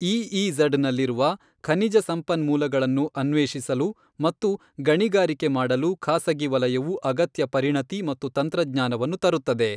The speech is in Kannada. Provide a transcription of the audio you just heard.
ಇಇಝಡ್ ನಲ್ಲಿರುವ ಖನಿಜ ಸಂಪನ್ಮೂಲಗಳನ್ನು ಅನ್ವೇಷಿಸಲು ಮತ್ತು ಗಣಿಗಾರಿಕೆ ಮಾಡಲು ಖಾಸಗಿ ವಲಯವು ಅಗತ್ಯ ಪರಿಣತಿ ಮತ್ತು ತಂತ್ರಜ್ಞಾನವನ್ನು ತರುತ್ತದೆ.